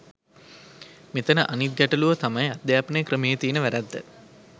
මෙතන අනිත් ගැටළුව තමයි අධ්‍යාපන ක්‍රමයේ තියෙන වැරැද්ද.